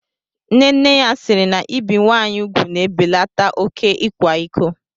Nne nne ya siiri na ibi nwaanyị ugwu na-ebelata oké ịkwa iko.